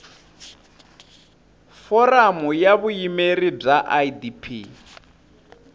foramu ya vuyimeri bya idp